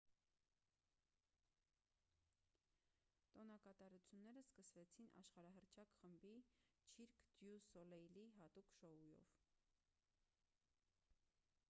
տոնակատարությունները սկսվեցին աշխարհահռչակ խմբի չիրկ դյու սոլեյլի հատուկ շոուով